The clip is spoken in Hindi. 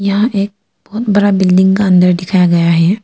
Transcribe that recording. यहां एक बड़ा बिल्डिंग का अंदर दिखाया गया है।